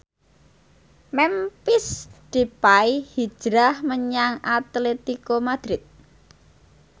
Memphis Depay hijrah menyang Atletico Madrid